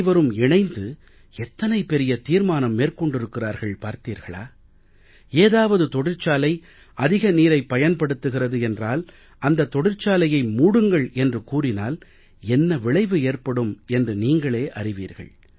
அனைவரும் இணைந்து எத்தனை பெரிய தீர்மானம் மேற்கொண்டிருக்கிறார்கள் பார்த்தீர்களா ஏதாவது தொழிற்சாலை அதிக நீரைப் பயன்படுத்துகிறது என்றால் அந்த தொழிற்சாலையை மூடுங்கள் என்று கூறினால் என்ன விளைவு ஏற்படும் என்று நீங்களே அறிவீர்கள்